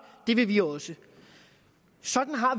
det vil vi også sådan har